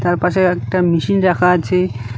তার পাশে একটা মেশিন রাখা আছে।